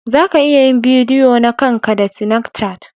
Za ka iya yin bidiyo na kan ka da sinacat.